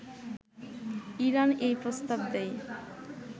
Iran এই প্রস্তাব দেয়